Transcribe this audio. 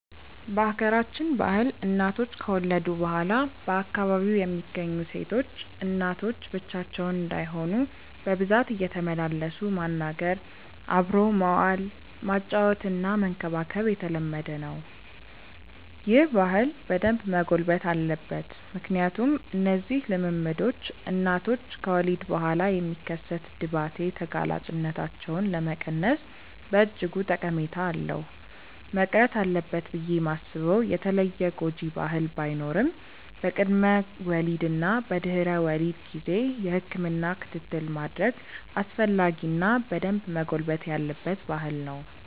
በሀገራችን ባህል እናቶች ከወለዱ በኋላ በአካባቢው የሚገኙ ሴቶች እናቶች ብቻቸውን እንዳይሆኑ በብዛት እየተመላለሱ ማናገር፣ አብሮ መዋል፣ ማጫወትና መንከባከብ የተለመደ ነው። ይህ ባህል በደንብ መጎልበት አለበት ምክንያቱም እነዚህ ልምምዶች እናቶች ከወሊድ በኋላ የሚከሰት ድባቴ ተጋላጭነታቸውን ለመቀነስ በእጅጉ ጠቀሜታ አለው። መቅረት አለበት ብዬ ማስበው የተለየ ጎጂ ባህል ባይኖርም በቅድመ ወሊድ እና በድህረ ወሊድ ጊዜ የህክምና ክትትል ማድረግ አስፈላጊ እና በደንብ መጎልበት ያለበት ባህል ነው።